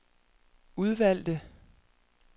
udvalgte